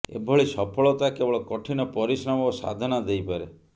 ଏଭଳି ସଫଳତା କେବଳ କଠିନ ପରିଶ୍ରମ ଓ ସାଧନା ଦେଇପାରେ